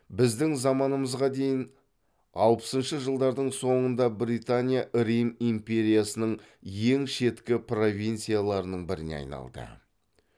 біздің заманымызға даейін алпысыншы жылдардың соңында британия рим империясының ең шеткі провинцияларының біріне айналды